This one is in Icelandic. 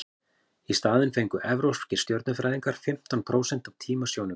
í staðinn fengu evrópskir stjörnufræðingar fimmtán prósent af tíma sjónaukans